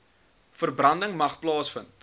verbranding mag plaasvind